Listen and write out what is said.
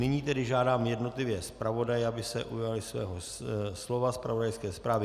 Nyní tedy žádám jednotlivé zpravodaje, aby se ujali svého slova, zpravodajské zprávy.